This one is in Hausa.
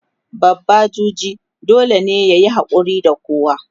babba juji dole yayi hakuri da kowa